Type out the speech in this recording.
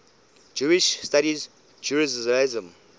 jewish studies jerusalem